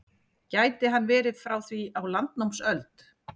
Gæti hann verið frá því á landnámsöld?